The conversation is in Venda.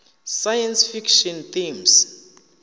science fiction themes